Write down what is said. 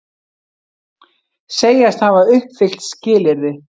Segjast hafa uppfyllt skilyrði